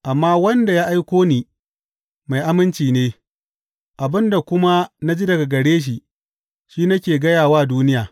Amma wanda ya aiko ni mai aminci ne, abin da kuma na ji daga gare shi, shi nake gaya wa duniya.